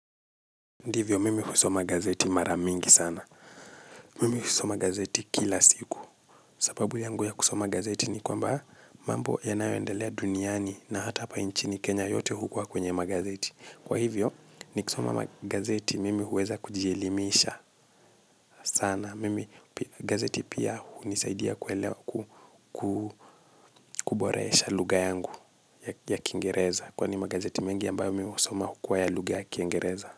Ndivyo, mimi husoma gazeti maramingi sana. Mimi husoma gazeti kila siku. Sababu yangu ya kusoma gazeti ni kwamba mambo yanayoendelea duniani na hata hapa nchini Kenya yote hukua kwenye magazeti. Kwa hivyo, nikisoma gazeti mimi huweza kujielimisha sana. Mimi, gazeti pia hunisaidia kuboresha lugha yangu ya kingereza. Kwani magazeti mengi ambayo mimi husoma hukua ya lugha ya kingereza.